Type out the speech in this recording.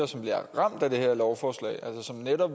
som bliver ramt af det her lovforslag